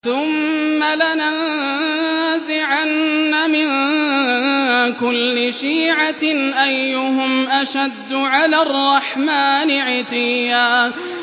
ثُمَّ لَنَنزِعَنَّ مِن كُلِّ شِيعَةٍ أَيُّهُمْ أَشَدُّ عَلَى الرَّحْمَٰنِ عِتِيًّا